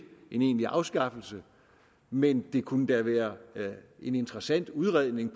en egentlig afskaffelse men det kunne da være en interessant udredning at